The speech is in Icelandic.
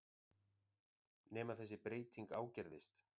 Nema þessi breyting ágerðist.